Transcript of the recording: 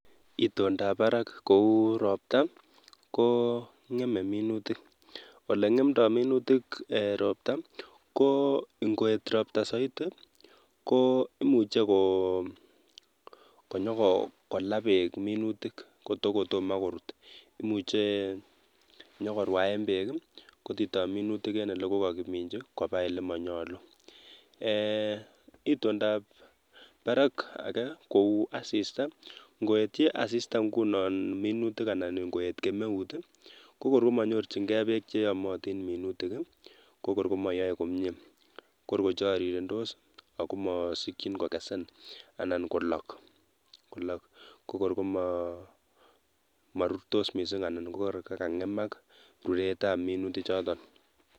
Itondob barak kou ropta kongeme minutik ole ngemdoi minutik eeh ropta ko ngoeet ropta saidi koimuchi konyikola beek minutik kotokotomo korut nyikorwaen beek kotitoi minutik eng ole kikoke minji koba ole manyalu eeh itondob barak ake kou asista ngoetyi anyun asista minutik anan koeeet kemeut komanyorchin kei beek cheyomotin minutik kobor komayoe komye kor kocharirendos amasikchin kokesen anan kolok kokor koma rurtos mising anan korut kokangemak ruretab minutik chotok